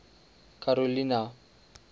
karolina